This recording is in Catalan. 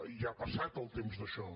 ja ha passat el temps d’això